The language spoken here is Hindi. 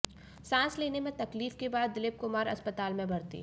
सांस लेने में तकलीफ के बाद दिलीप कुमार अस्पताल में भर्ती